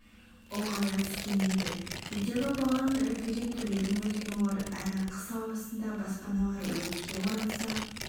ұлғая түскен еді үйдегі баланың үрпиген түрлерін көрген олар әрі қыс ауасында баспаналары өртке оранса